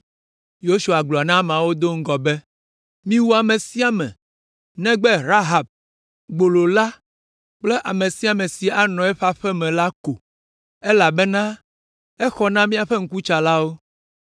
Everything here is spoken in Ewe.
Yosua gblɔ na ameawo do ŋgɔ be, “Miwu ame sia ame negbe Rahab, gbolo la kple ame sia ame si anɔ eƒe aƒe me la ko, elabena exɔ na míaƒe ŋkutsalawo.